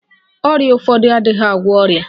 Ọrịa ụfọdụ adịghị agwọ ọrịa.